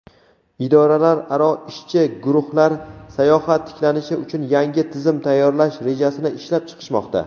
idoralararo ishchi guruhlar "sayohat tiklanishi uchun yangi tizim tayyorlash" rejasini ishlab chiqishmoqda.